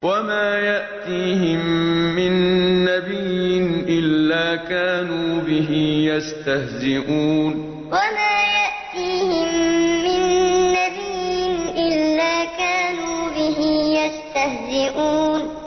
وَمَا يَأْتِيهِم مِّن نَّبِيٍّ إِلَّا كَانُوا بِهِ يَسْتَهْزِئُونَ وَمَا يَأْتِيهِم مِّن نَّبِيٍّ إِلَّا كَانُوا بِهِ يَسْتَهْزِئُونَ